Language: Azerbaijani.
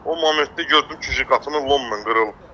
O momentdə gördüm ki, qapını lomnan qırılır.